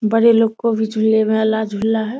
बड़े लोग को भी झूले में वाला झूला है।